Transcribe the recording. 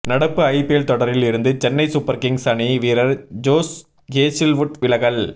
நடப்பு ஐபிஎல் தொடரில் இருந்து சென்னை சூப்பர் கிங்ஸ் அணி வீரர் ஜோஷ் ஹேசில்வுட் விலகல்